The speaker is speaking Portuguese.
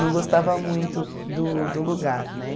Não gostava muito do do lugar, né?